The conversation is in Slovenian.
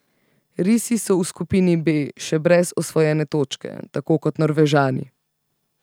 Risi so v skupini B še brez osvojene točke, tako kot Norvežani.